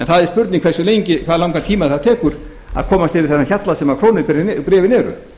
það er spurning hversu langan tíma það tekur að komast yfir þennan hjalla sem krónubréfin eru